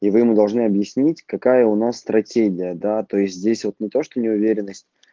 и вы ему должны объяснить какая у нас стратегия да то есть здесь вот ну то что неуверенность